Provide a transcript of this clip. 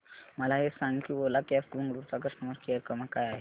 मला हे सांग की ओला कॅब्स बंगळुरू चा कस्टमर केअर क्रमांक काय आहे